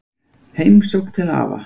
Heimsókn til afa